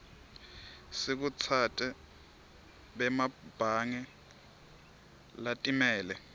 sikhutsate bemabhange latimele